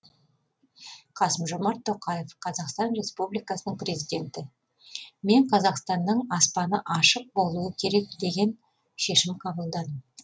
қасым жомарт тоқаев қазақстан республикасының президенті мен қазақстанның аспаны ашық болуы керек деген шешім қабылдадым